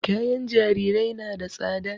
Kayan jarirai na da tsada